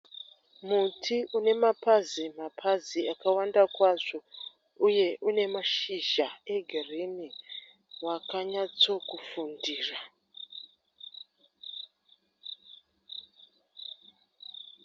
Muti une mapazi mapazi akawanda kwazvo uye une mashizha egirinhi wakanyatsokufundira.